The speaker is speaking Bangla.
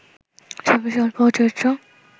ছবির গল্প ও চরিত্র